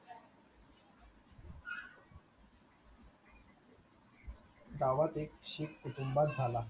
गावात एक शीख कुटुंबात झाला.